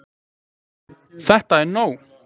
ÞETTA ER NÓG!